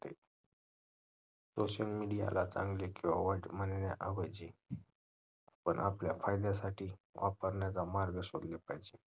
ते social media ला चांगले किवा वाईट म्हणण्याऐवजी आपण आपल्या फायद्यासाठी वापरण्याचा मार्ग शोधला पाहिजे